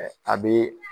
A bɛ